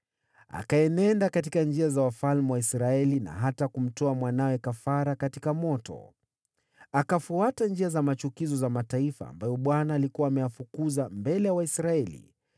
Akaenenda katika njia za wafalme wa Israeli, na hata akamtoa mwanawe kafara katika moto, akifuata njia za machukizo za mataifa ambayo Bwana alikuwa ameyafukuza mbele ya Waisraeli.